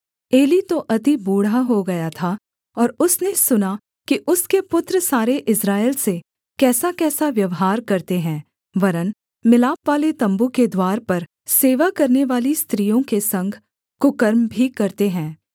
Eli तो अति बूढ़ा हो गया था और उसने सुना कि उसके पुत्र सारे इस्राएल से कैसाकैसा व्यवहार करते हैं वरन् मिलापवाले तम्बू के द्वार पर सेवा करनेवाली स्त्रियों के संग कुकर्म भी करते हैं